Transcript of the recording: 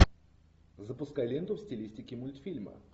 запускай ленту в стилистике мультфильма